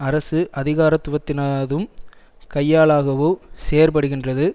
அரசு அதிகாரத்துவத்தினதும் கையாளாகவோ செயற்படுகின்றது